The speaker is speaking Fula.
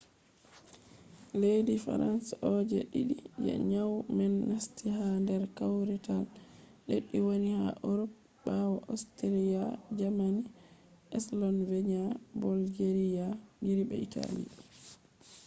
leddi frans on je je ɗiɗi je nyau man nasti ha nder kawrital leddi wani ha urop ɓawo ostriya jamani sloveniya bolgeriya gris be itali